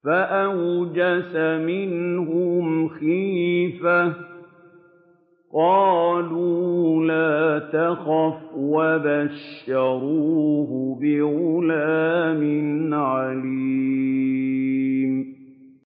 فَأَوْجَسَ مِنْهُمْ خِيفَةً ۖ قَالُوا لَا تَخَفْ ۖ وَبَشَّرُوهُ بِغُلَامٍ عَلِيمٍ